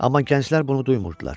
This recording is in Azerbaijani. Amma gənclər bunu duymurdular.